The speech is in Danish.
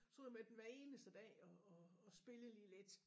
Stod med den hver eneste dag og og og spillede lige lidt